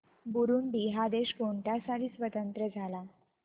Burundi हा देश कोणत्या साली स्वातंत्र्य झाला